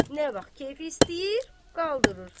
Nə vaxt keyfi istəyir, qaldırır.